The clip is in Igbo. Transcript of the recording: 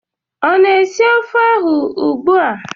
Ọ na-esi ofe ahụ ugbua?